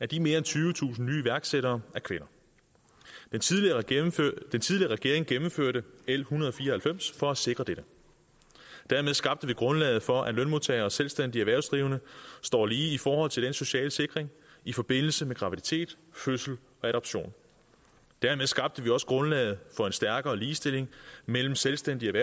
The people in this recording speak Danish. de mere end tyvetusind nye iværksættere er kvinder den tidligere regering regering gennemførte l en hundrede og fire og halvfems for at sikre dette dermed skabte vi grundlaget for at lønmodtagere og selvstændigt erhvervsdrivende står lige i forhold til den sociale sikring i forbindelse med graviditet fødsel og adoption dermed skabte vi også grundlaget for en stærkere ligestilling mellem selvstændigt